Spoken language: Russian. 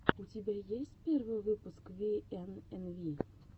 у тебя есть первый выпуск виэнэнви